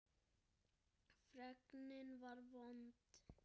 Fregnin var vond.